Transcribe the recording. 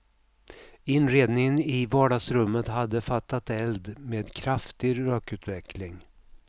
Inredningen i vardagsrummet hade fattat eld med kraftig rökutveckling.